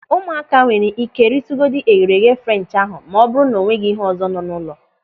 Ụmụaka nwere ike ritugodu eghereeghe French ahụ ma ọ bụrụ na o nweghị ihe ọzọ nọ n'ụlọ.